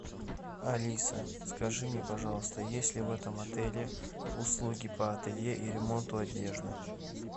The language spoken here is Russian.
алиса скажи мне пожалуйста есть ли в этом отеле услуги по ателье и ремонту одежды